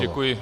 Děkuji.